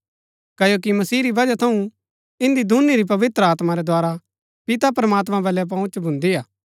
क्ओकि मसीह री बजहा थऊँ ईन्‍दी दूनी री पवित्र आत्मा रै द्धारा पिता प्रमात्मां बल्लै पहुँच भुन्दी हा